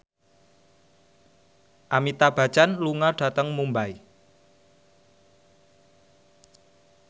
Amitabh Bachchan lunga dhateng Mumbai